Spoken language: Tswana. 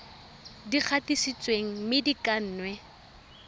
di gatisitsweng mme di kannwe